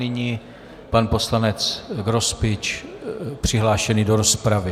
Nyní pan poslanec Grospič, přihlášený do rozpravy.